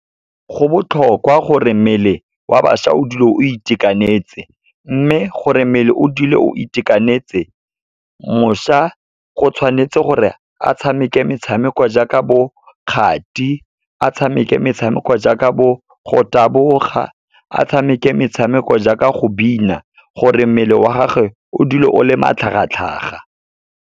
Go botlhokwa gore mmele wa bašwa o dule o itekanetse. Mme gore mmele o dule o itekanetse, mošwa go tshwanetse gore a tshameke metshameko jaaka bo kgati, a tshameke metshameko jaaka bo go taboga, a tshameke metshameko jaaka go bina, gore mmele wa gagwe o dule o le matlhagatlhaga.